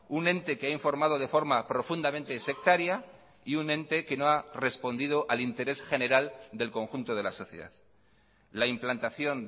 un ente que ha informado de forma profundamente sectaria y un ente que no ha respondido al interés general del conjunto de la sociedad la implantación